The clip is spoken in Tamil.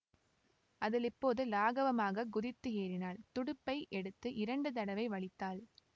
அதில் இப்போது லாகவமாகக் குதித்து ஏறினாள் துடுப்பை எடுத்து இரண்டு தடவை வலித்தாள்